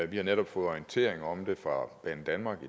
vi har netop fået orientering om det fra banedanmark